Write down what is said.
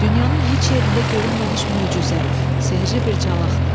Dünyanın heç yerində görünməmiş möcüzə, sehrli bir calaqdı.